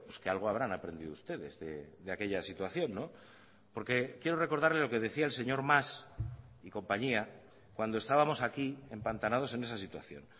que algo habrán aprendido ustedes de aquella situación porque quiero recordarle lo que decía el señor mas y compañía cuando estábamos aquí empantanados en esa situación